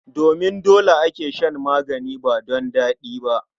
Domin dole ake shan magani ba don daɗi ba.